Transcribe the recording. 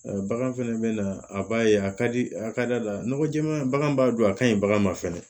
Bagan fɛnɛ bɛ na a b'a ye a ka di a ka da la nɔgɔ jɛma bagan b'a don a kaɲi bagan ma fɛnɛ